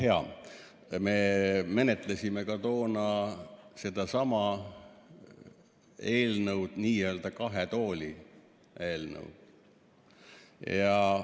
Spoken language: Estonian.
Ah jaa, me menetlesime ka toona sedasama eelnõu, n‑ö kahe tooli eelnõu.